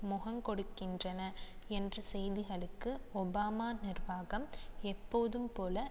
முகங்கொடுக்கின்றன என்ற செய்திகளுக்கு ஒபாமா நிர்வாகம் எப்போதும் போல